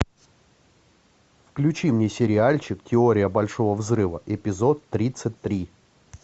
включи мне сериальчик теория большого взрыва эпизод тридцать три